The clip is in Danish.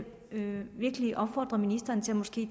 virkelig opfordre ministeren til måske